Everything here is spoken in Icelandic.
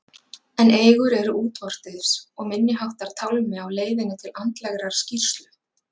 En eigur eru útvortis og minniháttar tálmi á leiðinni til andlegrar skírslu.